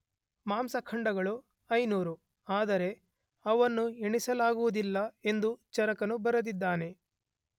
ಮಾಂಸಖಂಡಗಳು 500, ಆದರೆ ಅವನ್ನು ಎಣಿಸಲಾಗುವುದಿಲ್ಲ ಎಂದು ಚರಕನು ಬರೆದಿದ್ದಾನೆ.